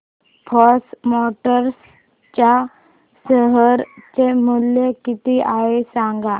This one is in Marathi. फोर्स मोटर्स च्या शेअर चे मूल्य किती आहे सांगा